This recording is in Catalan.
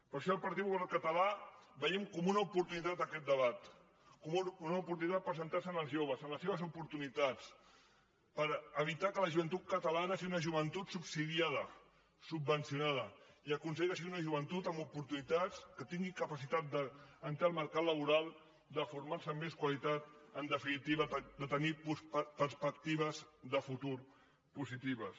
per això el partit popular català veiem com una oportunitat aquest debat com una oportunitat per centrar se en els joves en les seves oportunitats per evitar que la joventut catalana sigui una joventut subsidiada subvencionada i aconseguir que sigui una joventut amb oportunitats que tingui capacitat d’entrar al mercat laboral de formar se amb més qualitat en definitiva de tenir perspectives de futur positives